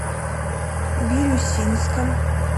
бирюсинском